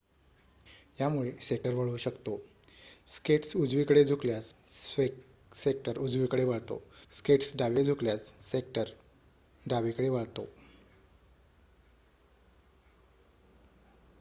यामुळे स्केटर वळू शकतो स्केट्स उजवीकडे झुकल्यास स्केटर उजवीकडे वळतो स्केट्स डावीकडे झुकल्यास स्केटर डावीकडे वळतो